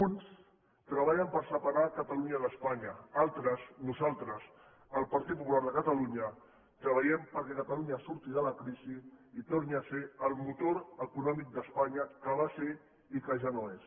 uns treballen per separar catalunya d’espanya altres nosaltres el pp de catalunya treballem perquè catalunya surti de la crisi i torni a ser el motor econòmic d’espanya que ho va ser i que ja no ho és